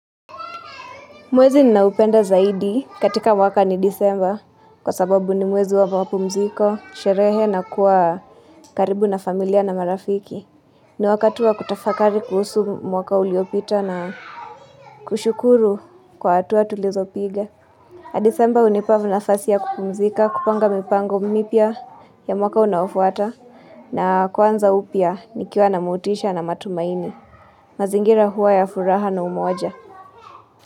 Mwezi ninaupenda zaidi katika mwaka ni disemba kwa sababu ni mwezi wa mapumziko, sherehe na kuwa karibu na familia na marafiki. Ni wakatu wa kutafakari kuhusu mwaka uliopita na kushukuru kwa atuwa tulizopige. Disemba hunipa nafasi ya kupumzika, kupanga mipango mipya ya mwaka unafuata na kwanza upya nikiwa na motisha na matumaini. Mazingira huwa ya furaha na umoja.